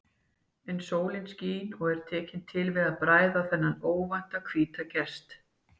En sólin skín og er tekin til við að bræða þennan óvænta hvíta gest.